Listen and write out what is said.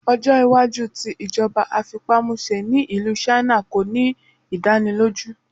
Ọjọ iwaju ti ijọba afipamuse ni Ilu China ko ni idaniloju